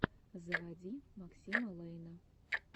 заводи максима лэйна